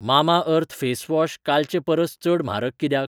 Mamaearth face wash कालचे परस चड म्हारग कित्याक?